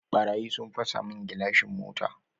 Ɓarayi sun fasa mun gilashin mota